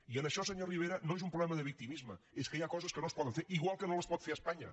i això senyor rivera no és un problema de victimisme és que hi ha coses que no es poden fer igual que no les pot fer espanya